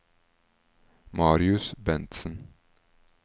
Marius Bentsen